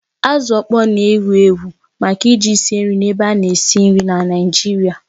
Azụ ọkpọr na-ewu ewu maka eji sie nri na ébé ana esi nri na Naịjirịa